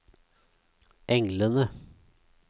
englene